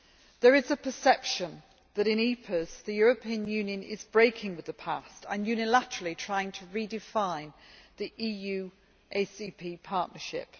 There is a perception that in EPAs the European Union is breaking with the past and unilaterally trying to redefine the EU ACP partnership.